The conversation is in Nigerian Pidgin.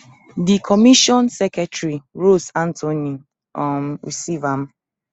di commission secretary rose anthony um receive am